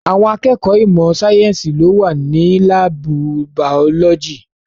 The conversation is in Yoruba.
Àwọn akẹ́kọ̀ọ́ ìmọ̀ sáyẹ̀nsì ló wà ní láàbù bàọ́lójì.